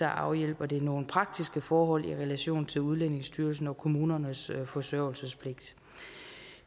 afhjælper det nogle praktiske forhold i relation til udlændingestyrelsen og kommunernes forsørgelsespligt